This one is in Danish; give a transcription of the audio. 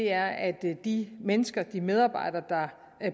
er at de mennesker de medarbejdere der